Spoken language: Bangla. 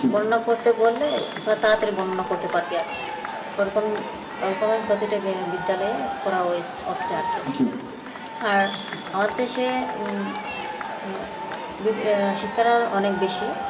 বর্ণনা করতে বললে তাড়াতাড়ি বর্ণনা করতে পারবে আর কি ওরকম ওরকম প্রতিটা বিদ্যালয়ে করা হচ্ছে আর কি আর আমাদের দেশে উম আহ শিক্ষাটা অনেক বেশি